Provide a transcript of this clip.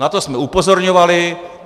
Na to jsme upozorňovali.